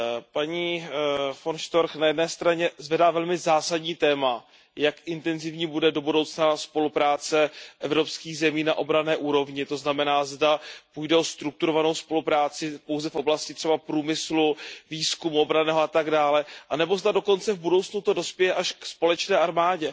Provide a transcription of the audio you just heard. Paní von Storchová na jedné straně zvedá velmi zásadní téma, jak intenzivní bude do budoucna spolupráce evropských zemí na obranné úrovni, to znamená, zda půjde o strukturovanou spolupráci pouze v oblasti třeba průmyslu, výzkumu, obranného a tak dále, anebo zda dokonce v budoucnu to dospěje až k společné armádě.